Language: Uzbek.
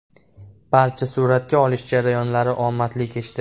Barcha suratga olish jarayonlari omadli kechdi.